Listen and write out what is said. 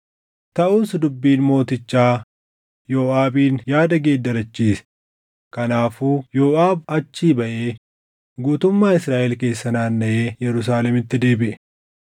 Taʼus dubbiin mootichaa Yooʼaabin yaada geeddarachiise; kanaafuu Yooʼaab achii baʼee guutummaa Israaʼel keessa naannaʼee Yerusaalemitti deebiʼe.